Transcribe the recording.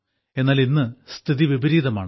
എന്നാൽ ഇന്ന് സ്ഥിതി വിപരീതമാണ്